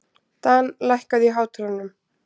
Dan, lækkaðu í hátalaranum.